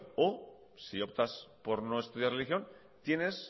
o si optas por no estudiar religión tienes